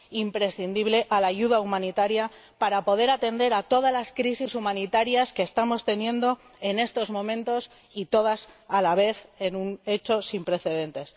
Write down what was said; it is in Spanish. imprescindible— a la ayuda humanitaria para poder atender a todas las crisis humanitarias que estamos teniendo en estos momentos, todas a la vez, en un hecho sin precedentes.